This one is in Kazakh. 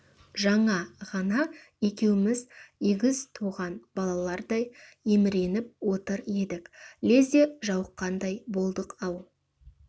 жаңа ғана екеуміз егіз туған балаларлардай еміреніп отыр едік лезде жауыққандай болдық-ау